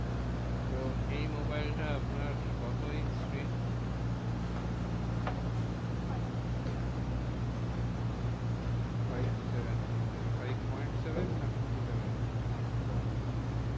তো এই মোবাইল টা আপনার কত inch screen? উম এটা five seven five seven মানে five point seven না fifty-seven? five point seven.